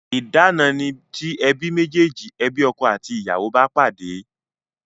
Idana ni ti ebi mejeji, ebi ọkọ àti ìyàwó bá pàdé